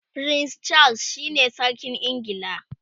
prince Charles shine sarkin ingila